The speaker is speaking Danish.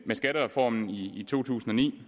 med skattereformen i to tusind og ni